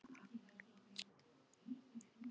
Nei þú manst ekki.